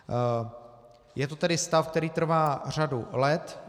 Je to tedy stav, který trvá řadu let.